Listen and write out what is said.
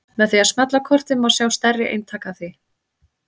Með því að smella á kortið má sjá stærri eintak af því.